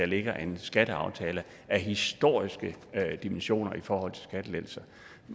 ligger en skatteaftale af historiske dimensioner i forhold til skattelettelser